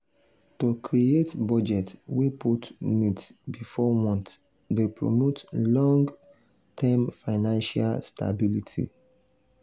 to create budget wey put needs before wants dey promote long-term financial stability.